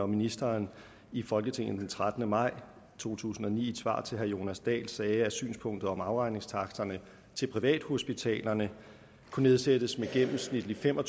ministeren i folketinget den trettende maj to tusind og ni i et svar til herre jonas dahl sagde om synspunktet om at afregningstaksterne til privathospitalerne kunne nedsættes med gennemsnitlig fem og